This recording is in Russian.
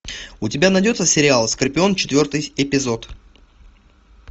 у тебя найдется сериал скорпион четвертый эпизод